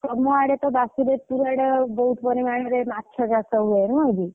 ତମ ଆଡେ ତ ବାସୁଦେବ ପୁରୁ ଆଡେ ବହୁତ୍ ପରିମାଣରେ ମାଛ ଚାଷ ହୁଏ ନୁହଁ କି?